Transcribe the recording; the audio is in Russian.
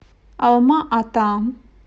алма ата